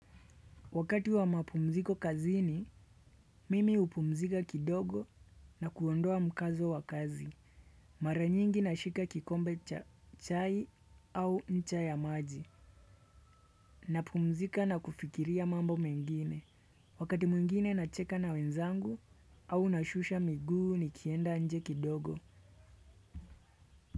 Wakati wa mapumziko kazini, mimi hupumzika kidogo na kuondoa mkazo wa kazi. Mara nyingi nashika kikombe cha chai au ncha ya maji. Napumzika na kufikiria mambo mengine. Wakati mwingine nacheka na wenzangu au nashusha miguu nikienda inje kidogo.